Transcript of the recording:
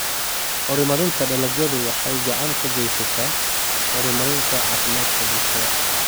Horumarinta dalagyadu waxay gacan ka geysataa horumarinta caafimaadka bulshada.